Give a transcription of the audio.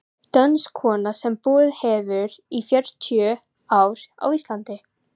Dönsk kona sem búið hefur í fjörutíu ár á Íslandi.